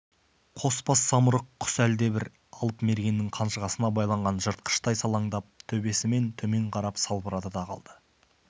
қос бас самұрық құс әлдебір алып мергеннің қанжығасына байланған жыртқыштай салаңдап төбесімен төмен қарап салбырады да қалды